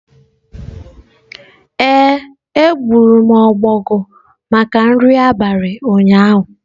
Ee, egburu m ọbọgwụ maka nri abalị ụnyaahụ